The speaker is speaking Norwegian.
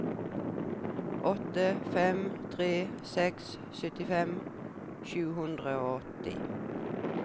åtte fem tre seks syttifem sju hundre og åtti